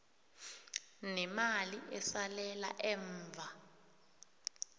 nemali esalela emva